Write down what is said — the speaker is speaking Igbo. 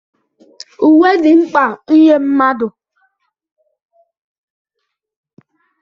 Uwe dị mkpa nye mmadụ.